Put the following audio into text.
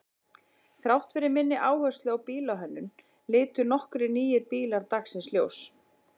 Þrátt fyrir minni áherslu á bílahönnun litu nokkrir nýir bílar dagsins ljós.